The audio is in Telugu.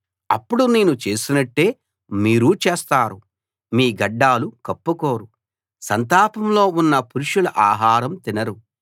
అప్పుడు నేను చేసినట్టే మీరూ చేస్తారు మీ గడ్డాలు కప్పుకోరు సంతాపంలో ఉన్న పురుషుల ఆహారం తినరు